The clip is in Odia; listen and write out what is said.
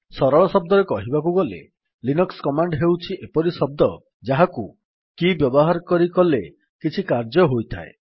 ସରଳ ଶବ୍ଦରେ କହିବାକୁ ଗଲେ ଲିନକ୍ସ୍ କମାଣ୍ଡ୍ ହେଉଛି ଏପରି ଶବ୍ଦ ଯାହାକୁ କି ବ୍ୟବହାର କରି କଲେ କିଛି କାର୍ଯ୍ୟ ହୋଇଥାଏ